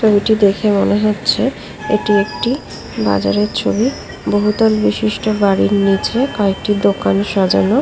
ছবিটি দেখলে মনে হচ্ছে এটি একটি বাজারের ছবি বহুতল বিশিষ্ট বাড়ির নিচে কয়েকটি দোকান সাজানো ।